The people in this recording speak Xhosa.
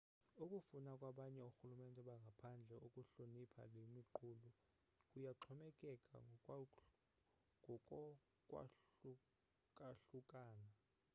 ukufuna kwabanye orhulumente bangaphandle ukuhlonipha le miqulu kuyaxhomekeka ngokokwahlukahlukana